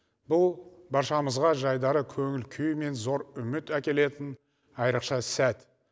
бұл баршамызға жайдары көңіл күй мен зор үміт әкелетін айрықша сәт